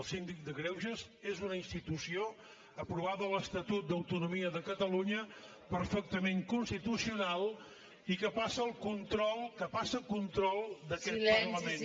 el síndic de greuges és una institució aprovada a l’estatut d’autonomia de catalunya perfectament constitucional i que passa el control que passa el control d’aquest parlament